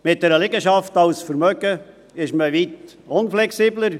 Mit einer Liegenschaft als Vermögen ist man weit unflexibler.